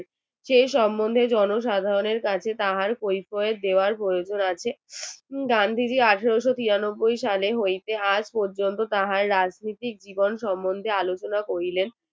সেই সম্বন্ধে জনসাধারণের কাছে তাহার পরিচয় দেওয়ার প্রয়োজন আছে গান্ধীজি আঠারোশো তিরানব্বৈ সালে হইতে আজ পর্যন্ত তাহার রাজনীতি জীবন সম্বন্ধে আলোচনা করিলেন।